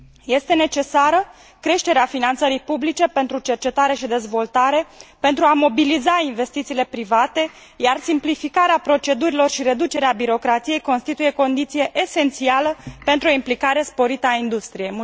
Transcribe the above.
Este necesară creșterea finanțării publice pentru cercetare și dezvoltare, pentru a mobiliza investițiile private, iar simplificarea procedurilor și reducerea birocrației constituie o condiție esențială pentru o implicare sporită a industriei.